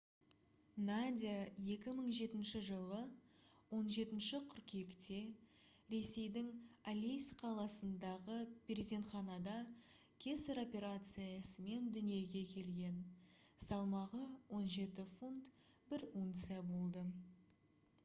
надя 2007 жылы 17 қыркүйекте ресейдің алейск қаласындағы перзентханада кесар операциясымен дүниеге келген салмағы 17 фунт 1 унция болды